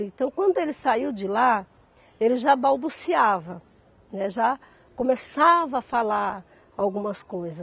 Então, quando ele saiu de lá, ele já balbuciava, né, já começava a falar algumas coisas.